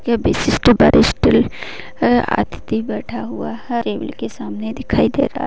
ये विशिष्ट वरिष्ठ अअ अतिथि बैठा हुआ है टेबल के सामने दिखाई दे रहा है|